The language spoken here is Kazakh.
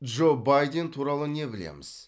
джо байден туралы не білеміз